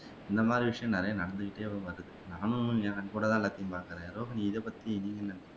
இந்தமாதிரி விஷயம் நிறைய நடந்துகிட்டே வருது நானும் கொஞ்சம் கண்கூடதான் எல்லாத்தையும் பார்க்குறேன் ரோஹினி இதபத்தி நீங்க என்ன